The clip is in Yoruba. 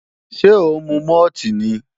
Ṣé ó ń mu mọ́ọ̀tì ni?